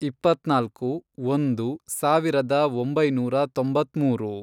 ಇಪ್ಪತ್ನಾಲ್ಕು, ಒಂದು, ಸಾವಿರದ ಒಂಬೈನೂರ ತೊಂಬತ್ಮೂರು